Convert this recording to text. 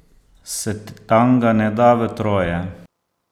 Se tanga ne da v troje?